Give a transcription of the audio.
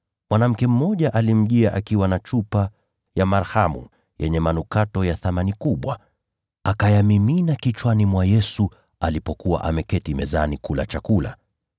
naye mwanamke mmoja akamjia akiwa na chupa ya marhamu yenye manukato ya thamani kubwa; akayamimina kichwani mwa Yesu alipokuwa ameketi mezani kula chakula.